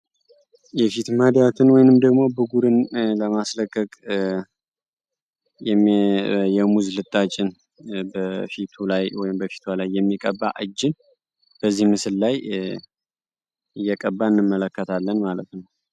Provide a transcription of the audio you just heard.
የፊት ማዳትን ወይንም ደግሞ ቡግርን ለማስለቀቅ የሙዝ ልጣጭን በፊቱ ላይ ወይንም በፊቷ ላይ የሚቀባ እጅን በዚህ ምስል ላይ እየቀባ እንመለከታለን ማለት ነው።